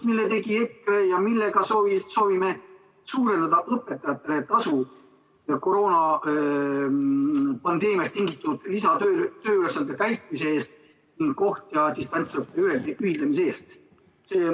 Selle tegi EKRE ja sellega soovime suurendada õpetajate tasu koroonapandeemiast tingitud lisatööülesannete täitmise eest, kontakt- ja distantsõppe ühendamise eest.